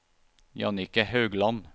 Jannicke Haugland